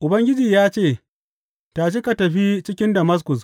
Ubangiji ya ce, Tashi, ka tafi cikin Damaskus.